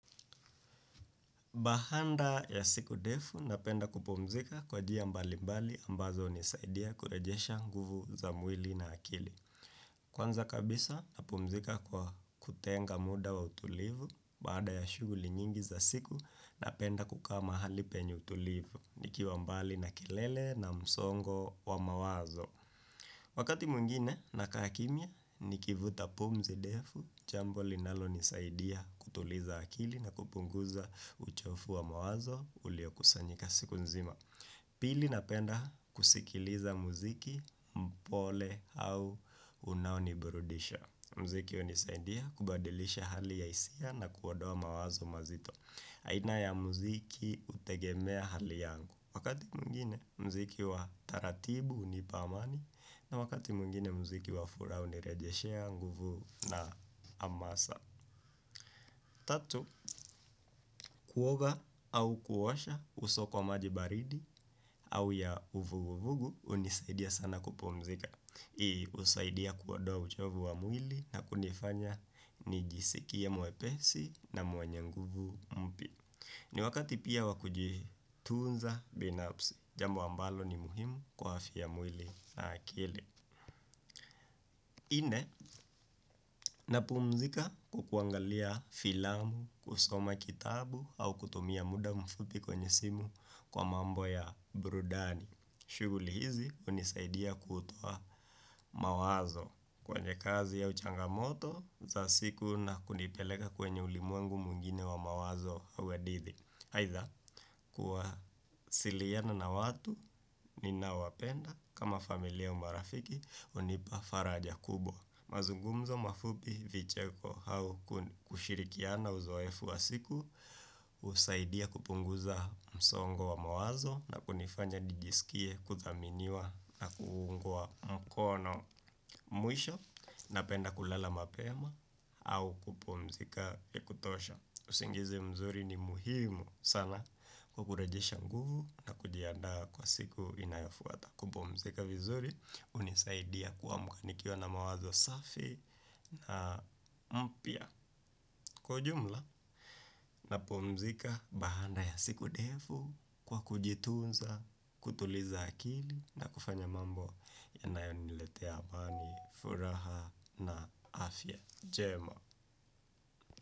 Bahanda ya siku ndefu napenda kupumzika kwa jia mbalimbali ambazo hunisaidia kurejesha nguvu za mwili na akili. Kwanza kabisa napumzika kwa kutenga muda wa utulivu baada ya shughuli nyingi za siku napenda kukaa mahali penye utulivu nikiwa mbali na kelele na msongo wa mawazo. Wakati mwengine nakaa kimya, nikivuta pumzi defu, chambo linalonisaidia kutuliza akili na kupunguza uchofu wa mawazo uliokusanyika siku nzima. Pili napenda kusikiliza muziki mpole au unaoniburudisha. Mziki hunisaidia kubadilisha hali ya hisia na kuodoa mawazo mazito. Aina ya muziki hutegemea hali yangu. Wakati mwengine muziki wa taratibu hunipa amani. Na wakati mwengine muziki wa furaha hunirejeshea nguvu na amasa. Tatu, kuoga au kuosha uso kwa maji baridi. Au ya uvuguvugu hunisaidia sana kupumzika husaidia kuodoa uchovu wa mwili na kunifanya nijisikie mwepesi na mwenye nguvu mpya. Ni wakati pia wa kujitunza binafsi, jambo ambalo ni muhimu kwa afya ya mwili na akili. Nne, napumzika kwa kuangalia filamu, kusoma kitabu au kutumia muda mfupi kwenye simu kwa mambo ya burudani. Shughuli hizi, hunisaidia kutoa mawazo kwenye kazi au changamoto za siku na kunipeleka kwenye ulimwengu mwingine wa mawazo au adidhi. Aidha kuwasiliana na watu ninaowapenda kama familia au marafiki hunipa faraja kubwa. Mazungumzo mafupi vicheko au kushirikiana uzoefu wa siku husaidia kupunguza msongo wa mawazo na kunifanya nijisikie kuthaminiwa na kuungwa mkono mwisho napenda kulala mapema au kupumzika ya kutosha. Usingizi mzuri ni muhimu sana kwa kurejesha nguvu na kujiandaa kwa siku inayofuata kupumzika vizuri hunisaidia kuamka nikiwa na mawazo safi na mpya kwa ujumla. Napumzika bahanda ya siku defu kwa kujitunza, kutuliza akili na kufanya mambo yanayoniletea amani furaha na afya njema.